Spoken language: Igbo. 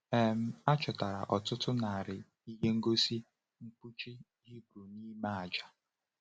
um A chọtara ọtụtụ narị ihe ngosi mkpuchi Hibru n’ime aja.